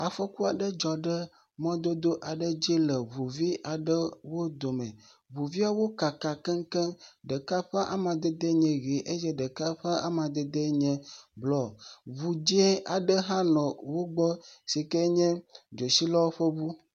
Afɔkua ɖe dzɔ ɖe mɔdodo aɖe ŋuvi aɖewo dome. Ŋuviawo kaka keŋkeŋ. Ɖeka ƒe amadede nye ʋi eye ɖeka ƒe amadede nye bluɔ. Ŋu dzɛ aɖewo hã nɔ wogbɔ yike nye dzotsilawo ƒe ŋu.